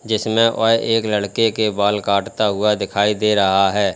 जिसमें वह एक लड़के के बाल काटता हुआ दिखाई दे रहा है।